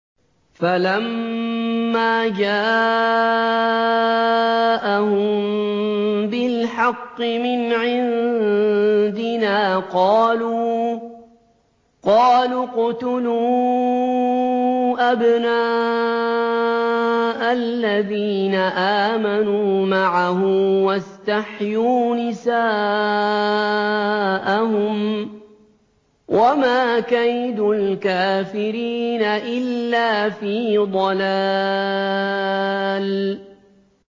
فَلَمَّا جَاءَهُم بِالْحَقِّ مِنْ عِندِنَا قَالُوا اقْتُلُوا أَبْنَاءَ الَّذِينَ آمَنُوا مَعَهُ وَاسْتَحْيُوا نِسَاءَهُمْ ۚ وَمَا كَيْدُ الْكَافِرِينَ إِلَّا فِي ضَلَالٍ